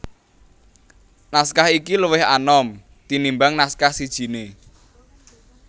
Naskah iki luwih anom tinimbang naskah sijiné